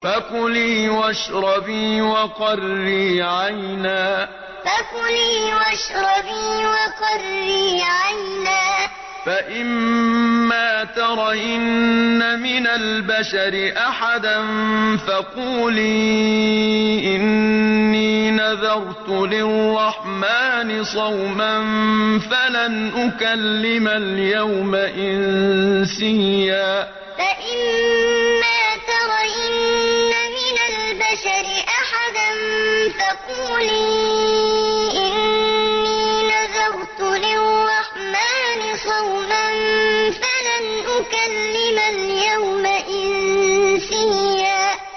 فَكُلِي وَاشْرَبِي وَقَرِّي عَيْنًا ۖ فَإِمَّا تَرَيِنَّ مِنَ الْبَشَرِ أَحَدًا فَقُولِي إِنِّي نَذَرْتُ لِلرَّحْمَٰنِ صَوْمًا فَلَنْ أُكَلِّمَ الْيَوْمَ إِنسِيًّا فَكُلِي وَاشْرَبِي وَقَرِّي عَيْنًا ۖ فَإِمَّا تَرَيِنَّ مِنَ الْبَشَرِ أَحَدًا فَقُولِي إِنِّي نَذَرْتُ لِلرَّحْمَٰنِ صَوْمًا فَلَنْ أُكَلِّمَ الْيَوْمَ إِنسِيًّا